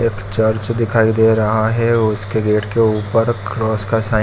एक चर्च दिखाई दे रहा है उसके गेट के ऊपर क्रॉस का साइन --